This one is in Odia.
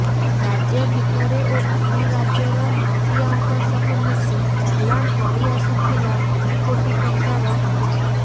ରାଜ୍ୟ ଭିତରେ ଓ ଅନ୍ୟ ରାଜ୍ୟର ମାଫିଆଙ୍କ ସହ ମିଶି ଚାଲାଣ କରିଆସୁଥିଲା କୋଟି କୋଟି ଟଙ୍କାର ଗଞ୍ଜେଇ